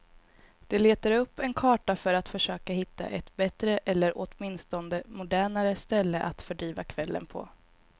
De letade upp en karta för att försöka hitta ett bättre eller åtminstone modernare ställe att fördriva kvällen på.